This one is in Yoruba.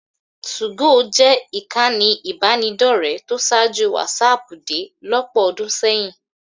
2go jẹ́ ìkànnì ìbánidọ́rẹ̀ẹ́ tó ṣáájú wásaàpù dé lọ́pọ̀ ọdún sẹ́yìn.